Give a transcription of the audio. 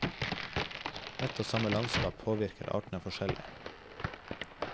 Ett og samme landskap påvirker artene forskjellig.